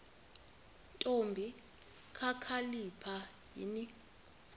ntombi kakhalipha yini